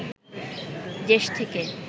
দেশ থেকে